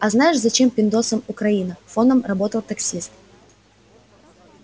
а знаешь зачем пиндосам украина фоном работал таксист